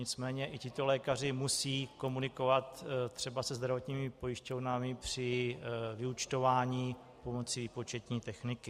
Nicméně i tito lékaři musí komunikovat třeba se zdravotními pojišťovnami při vyúčtování pomocí výpočetní techniky.